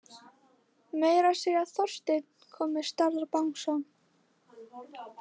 Meira að segja Þorsteinn kom með stærðar bangsa.